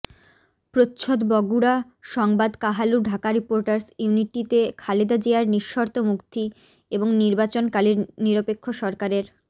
প্রচ্ছদ বগুড়া সংবাদ কাহালু ঢাকা রিপোটার্স ইউনিটিতে খালেদা জিয়ার নিঃশর্ত মুক্তি এবং নির্বাচনকালীন নিরপেক্ষ সরকারের